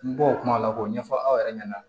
N bɔ o kuma la k'o ɲɛfɔ aw yɛrɛ ɲɛna